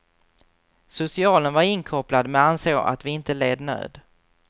Socialen var inkopplad, men ansåg att vi inte led nöd.